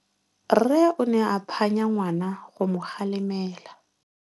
Rre o ne a phanya ngwana go mo galemela.